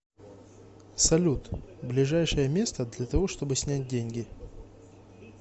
салют ближайшее место для того чтобы снять деньги